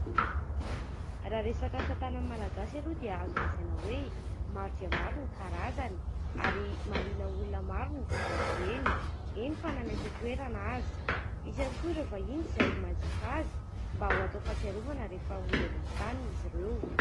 Raha resaka asatanana malagasy aloha dia azo lazaina hoe maro dia maro ny karazany, ary mahaliana olona maro ny mividy azy ireny, eny fa na ny eto an-toerana aza. Misy ihany koa ireo vahiny izay manjifa azy, mba ho atao fahatsiarovana, rehefa mody any amin'ny taniny izy ireo.